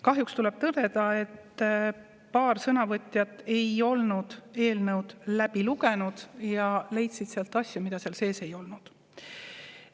Kahjuks tuleb tõdeda, et paar sõnavõtjat ei olnud eelnõu läbi lugenud ja leidsid sealt asju, mida seal sees ei olnud.